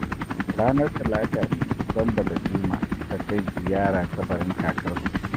Ranar Talata ne Sambo da Juma suka kai ziyara kabarin Kakarsu